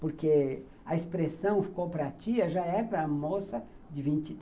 Porque a expressão que ficou para a tia já é para a moça de vinte